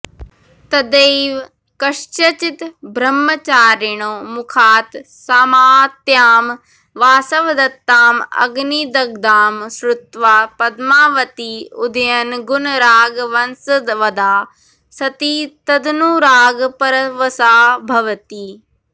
तदैव कस्यचिद् ब्रह्मचारिणॊ मुखात् सामात्यां वासवदत्तां अग्निदग्धां श्रुत्वा पद्मावती उदयनगुणरागवशंवदा सती तदनुरागपरवशा भवति